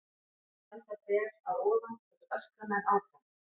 Á hann að standa ber að ofan og öskra menn áfram?